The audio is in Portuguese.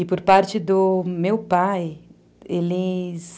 E por parte do meu pai, eles...